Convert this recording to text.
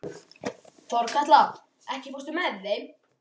Þorkatla, ekki fórstu með þeim?